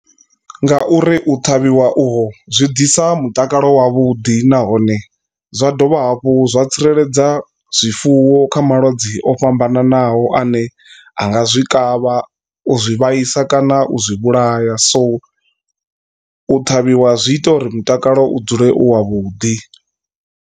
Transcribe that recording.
Nga uri u ṱhavhiwa uho zwi ḓisa mutakalo wavhuḓi nahone zwa dovha hafhu zwa tsireledza zwifuwo kha malwadze o fhambananaho ane anga zwi kavha u zwi vhaisa kana u zwi vhulaya so u ṱhavhiwa zwi ita uri mutakalo u dzule u wa vhuḓi.